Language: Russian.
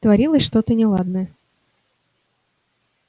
творилось что-то неладное